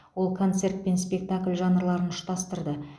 ол концерт пен спектакль жанрларын ұштастырды